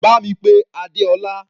Bá mi pé Adeola.